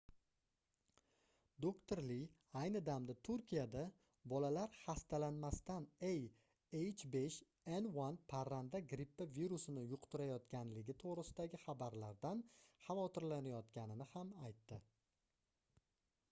doktor li ayni damda turkiyada bolalar xastalanmasdan a h5n1 parranda grippi virusini yuqtirayotganligi to'g'risidagi xabarlardan xavotrilanayotganini ham aytdi